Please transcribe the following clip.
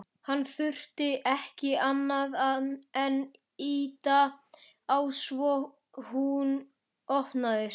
Hann þurfti ekki annað en ýta á svo hún opnaðist.